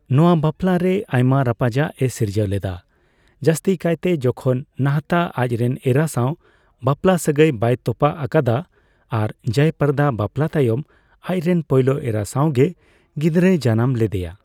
ᱱᱚᱣᱟ ᱵᱟᱯᱞᱟ ᱨᱮ ᱟᱭᱢᱟ ᱨᱟᱯᱟᱪᱟᱜ ᱮ ᱥᱤᱨᱡᱟᱹᱣ ᱞᱮᱫᱟ, ᱡᱟᱥᱛᱤ ᱠᱟᱭᱛᱮ ᱡᱮᱠᱷᱚᱱ ᱱᱟᱦᱛᱟ ᱟᱡ ᱨᱮᱱ ᱮᱨᱟ ᱥᱟᱣ ᱵᱟᱯᱞᱟᱥᱟᱹᱜᱟᱹᱭ ᱵᱟᱭ ᱛᱚᱯᱟᱜ ᱟᱠᱟᱫᱟ ᱟᱨ ᱡᱚᱭᱟ ᱯᱨᱚᱫᱟ ᱵᱟᱯᱞᱟ ᱛᱟᱭᱚᱢ ᱟᱡᱨᱮᱱ ᱯᱳᱭᱞᱳ ᱮᱨᱟ ᱥᱟᱣᱜᱮ ᱜᱤᱫᱽᱨᱟᱹᱭ ᱡᱟᱱᱟᱢ ᱞᱮᱫᱮᱭᱟ ᱾